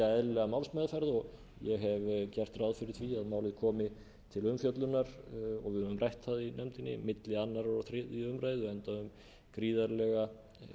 eðlilega málsmeðferð ég hef gert ráð fyrir því að málið komi til umfjöllunar og við höfum rætt það í nefndinni milli annars og þriðju umræðu enda um gríðarlega